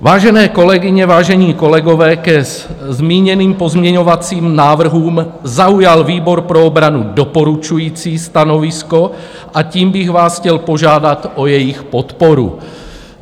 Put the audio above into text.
Vážené kolegyně, vážení kolegové, ke zmíněným pozměňovacím návrhům zaujal výbor pro obranu doporučující stanovisko a tím bych vás chtěl požádat o jejich podporu.